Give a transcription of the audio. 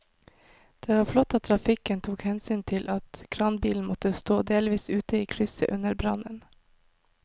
Det var flott at trafikken tok hensyn til at kranbilen måtte stå delvis ute i krysset under brannen.